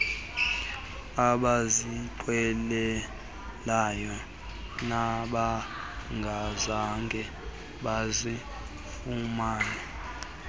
abazinqwenelayo nabangazange bazifumane